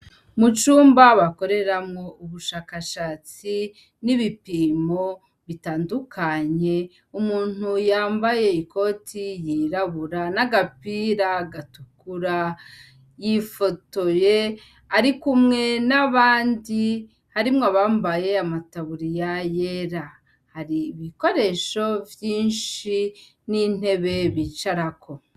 Mucumba bakoreramwo ubushakashatsi n'ibipimo bitandukanye umuntu yambaye ikoti yirabura n'agapira gatukura yifotoye, ariko umwe n'abandi harimwo abambaye amataburi ya yera hari ibikoresho vyinshi n'intebe bicarako.